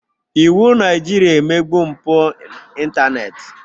Iwụ Naịjirịa emegbu mpụ ịntanetị.